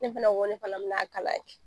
Ne fɛna ko ne fana be n'a kalan kɛ .